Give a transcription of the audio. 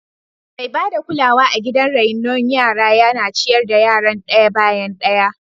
Mai ba da kulawa a gidan raino yara yana ciyar da yaran daya bayan daya.